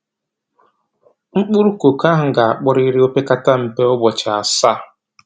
Mkpụrụ koko ahụ ga-akpọrịrị o pekata mpe ụbọchị asaa.